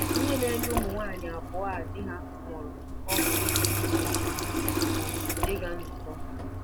Ihe na-enye ụmụ nwanyị abụọ a di ha nwụrụ ọṅụ pụrụ iche bụ ịga nzukọ.